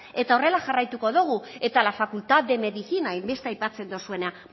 eta horrela jarraituko dogu eta la facultad de medicina hain beste aipatzen dozuena